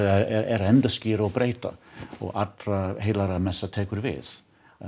er að endurskíra og breyta og tekur við